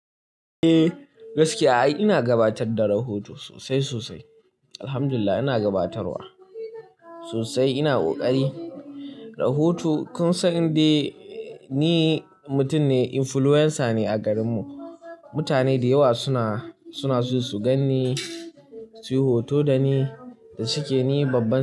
Eh gaskiya ai ina gabatar da rahoto sosai sosai. Alhamdulillah ina gabatarwa sosai, ina ƙoƙari. Rahoto, kun san indai ni mutum ne influencer ne a garinmu. Mutane dayawa suna, suna so su gan ni, su yi hoto da ni da shike ni babban.